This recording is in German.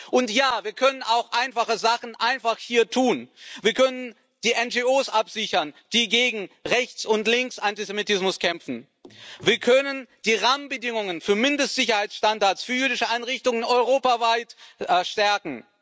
Und ja, wir können auch einfache Sachen einfach hier tun, wir können die NGOs absichern, die gegen Rechts und Linksantisemitismus kämpfen. Wir können die Rahmenbedingungen für Mindestsicherheitsstandards für jüdische Einrichtungen europaweit stärken.